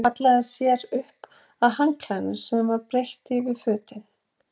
Hallaði sér upp að handklæðinu sem var breitt yfir fötin.